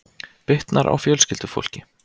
Bitnar á fjölskyldufólki